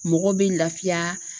Mɔgɔ bɛ laafiya.